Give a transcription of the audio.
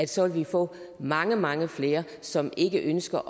så vil få mange mange flere som ikke ønsker